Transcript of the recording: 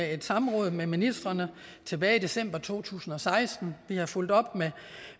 et samråd med ministrene tilbage i december to tusind og seksten vi har fulgt op